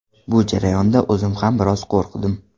Bu jarayonda o‘zim ham biroz qo‘rqdim.